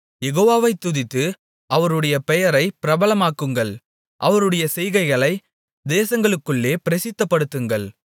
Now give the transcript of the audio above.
யெகோவாவை துதித்து அவருடைய பெயரை பிரபலமாக்குங்கள் அவருடைய செய்கைகளை தேசங்களுக்குள்ளே பிரசித்தப்படுத்துங்கள்